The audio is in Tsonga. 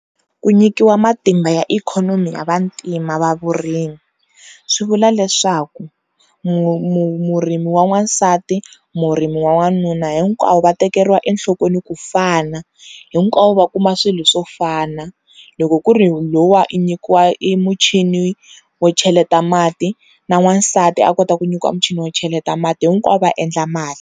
Ku nyikiwa matimba ya ikhonomi ya vantima va vurimi swi vula leswaku murimi wa n'wansati, murimi wa wanuna hinkwavo va tekeriwa enhlokweni ku fana, hinkwavo va kuma swilo swo fana loko ku ri luwa i nyikiwa i muchini wo cheleta mati na n'wansati a kota ku nyikiwa muchini wo cheleta mati hinkwavo va endla mali.